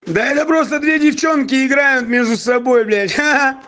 да это просто две девчонки играют между собой блять хи-хи